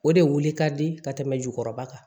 O de wuli ka di ka tɛmɛ jukɔrɔba kan